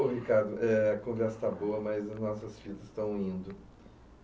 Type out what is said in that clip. O Ricardo, é a conversa está boa, mas os nossos filhos estão indo.